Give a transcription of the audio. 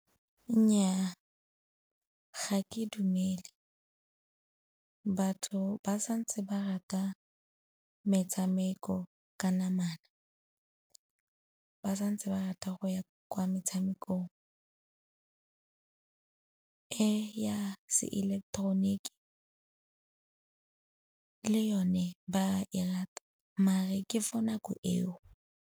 Nnyaa, ga ke dumele. Batho ba santse ba rata metshameko ka namana, ba santse ba rata go ya kwa metshamekong. E ya se ileketeroniki le yone ba e rata, mare ke for nako eo.